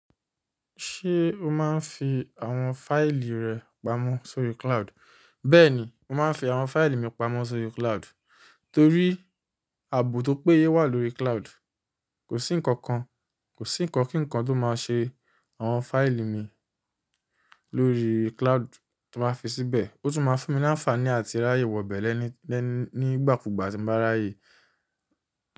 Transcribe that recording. Ṣé o máa ń fi àwọn fáìlì rẹ pamọ́ sórí cloud? Ṣé o máa ń fi àwọn fáìlì rẹ pamọ́ sórí cloud? Kò sí ǹkankan, ko sí nǹkan ki nkan tó máa se àwọn fáìlì mi lórí cloud ti n ba fi síbẹ̀. Ó tún ma fún mi ní àǹfààní àti ráyè wọ̀bẹ́ lẹ́ní, nigbàkúgbà tí mo bá ráyè.